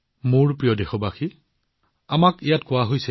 মোৰ মৰমৰ দেশবাসীসকল আমাৰ ইয়াত কোৱা হৈছে